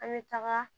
An bɛ taga